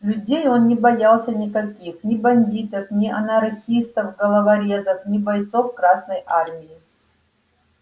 людей он не боялся никаких ни бандитов не анархистов-головорезов ни бойцов красной армии